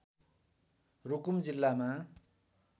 रुकुम जिल्लामा